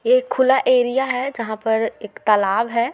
ये एक खुला एरिया है जहा पर एक तालाब है।